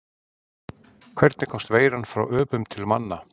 Hvernig komst veiran frá öpum til manna?